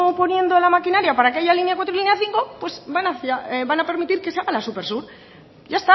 poniendo la maquinaría para que haya línea cuatro y línea cinco pues van a permitir que se haga la supersur ya